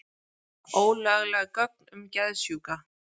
Ólögleg gögn um geðsjúka